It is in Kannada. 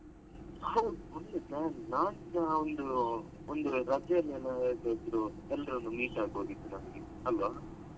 ಹೌದು. ಒಳ್ಳೆ plan ನಾಳ್ದು ನಾವ್ ಒಂದು ಒಂದು ರಜೆಯಲ್ಲೆಲ್ಲ ಎಲ್ಲಿ ಆದ್ರೂ ಎಲ್ಲರನ್ನು meet ಆಗ್ಬೋದಿತ್ತು ನಮಿಗೆ ಅಲ್ವ?